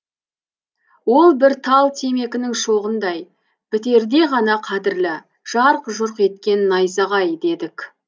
ол бір тал темекінің шоғындай бітерде ғана қадірлі жарқ жұрқ еткен найзағай дедік